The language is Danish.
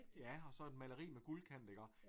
Ja og så et maleri med guldkant iggå